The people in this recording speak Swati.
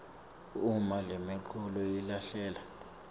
uma lemiculu ilahleka